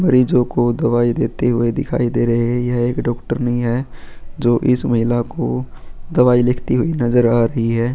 मरीजों को दवाई देते हुए दिखाई दे रहे हैं यह एक डॉक्टर नहीं है जो इस महिला को दवाई लिखती हुई नजर आ रही है.